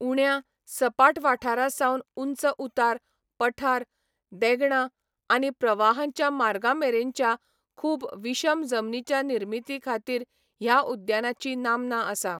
उण्या, सपाट वाठारांसावन उंच उतार, पठार, देगणां आनी प्रवाहांच्या मार्गांमेरेनच्या खूब विशम जमनीच्या निर्मितीखातीर ह्या उद्यानाची नामना आसा.